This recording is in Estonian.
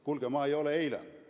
Kuulge, ma ei ole eilne!